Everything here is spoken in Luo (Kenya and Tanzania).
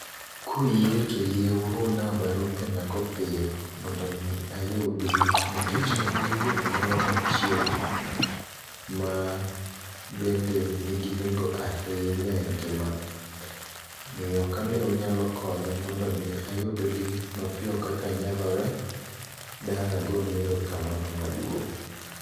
Kuyie to yie uruna barupe na go piyo mondo mi ayudgi, nikech an gi wuoth moro machiegni. Ma bende nigi nengo ahinya e ngima na, omiyo ka de unyalo konya mondo mi ayudgi mapiyo kaka nyalore, dang' agonu erokamano maduong'.